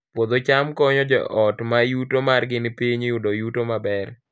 Puodho cham konyo joot ma yuto margi ni piny yudo yuto maber